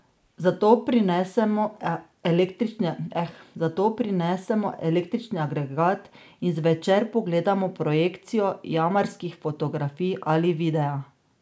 Zato prinesemo električni agregat in zvečer pogledamo projekcijo jamarskih fotografij ali videa.